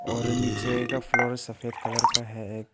और नीचे का फ्लोर सफेद कलर का है एक--